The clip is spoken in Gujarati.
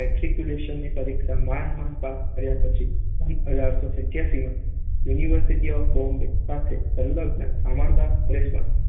મેટ્રીક્યુલેશનની પરીક્ષા માંડ~માંડ પાસ કર્યા પછી સન અઢારસો સત્યાસીમાં યુનિવર્સિટી ઑફ બૉમ્બે સાથે સંલગ્ન શામળદાસ કોલેજમાં